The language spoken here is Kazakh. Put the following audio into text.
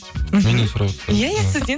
менен сұрап отырсыздар ма иә иә сізден